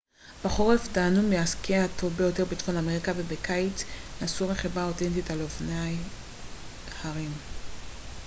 בחורף תהנו מהסקי הטוב ביותר בצפון אמריקה ובקיץ נסו רכיבה אותנטית על אופני הרים